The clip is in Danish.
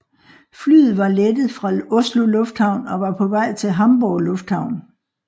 Flyet var var lettet fra Oslo Lufthavn og var på vej til Hamburg Lufthavn